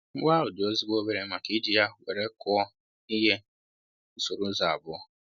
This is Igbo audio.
Mkpu ahụ dị ezigbo obere maka I ji ya wéré kụọ ihe usoro ụzọ abụọ